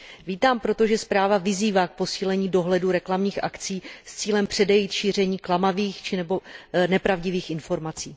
Vítám proto, že zpráva vyzývá k posílení dohledu nad reklamními akcemi s cílem předejít šíření klamavých nebo nepravdivých informací.